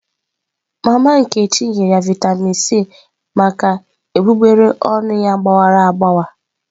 Mama nkechi nyere ya Vịatamin C maka egbugbere ọnụ ya gbawara agbawa.